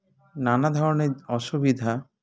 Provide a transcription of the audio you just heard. নানা ধরনের অসুবিধা